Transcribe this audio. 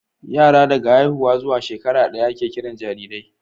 yara daga haihuwa zuwa shekara daya ake Kiran jarirai